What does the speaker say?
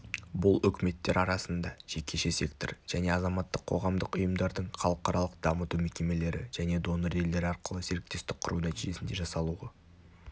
бұл үкіметтер арасында жекеше сектор және азаматтық қоғамдық ұйымдардың халықаралық дамыту мекемелері және донор-елдер арқылы серіктестік құру нәтижесінде жасалуы